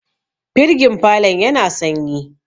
firgin falon yana sanyi